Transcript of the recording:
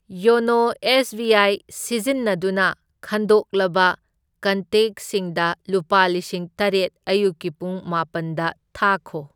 YONO S B I ꯁꯤꯖꯤꯟꯅꯗꯨꯅ ꯈꯟꯗꯣꯛꯂꯕ ꯀꯟꯇꯦꯛꯁꯤꯡꯗ ꯂꯨꯄꯥ ꯂꯤꯁꯤꯡ ꯇꯔꯦꯠ ꯑꯌꯨꯛꯀꯤ ꯄꯨꯡ ꯃꯥꯄꯟꯗ ꯊꯥꯈꯣ꯫